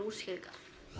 útskýringar